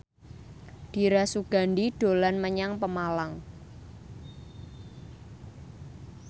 Dira Sugandi dolan menyang Pemalang